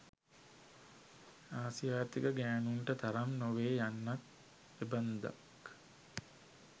ආසියාතික ගෑනුන්ට තරම් නොවේය යන්නත් එබන්දක්.